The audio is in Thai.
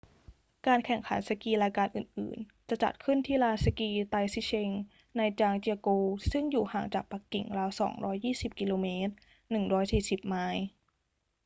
การแข่งขันสกีรายการอื่น ๆ จะจัดขึ้นที่ลานสกี taizicheng ในจางเจี๋ยโกวซึ่งอยู่ห่างจากปักกิ่งราว 220 กม. 140 ไมล์